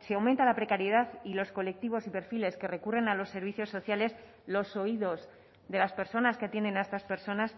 se aumenta la precariedad y los colectivos y perfiles que recurren a los servicios sociales los oídos de las personas que tienen a estas personas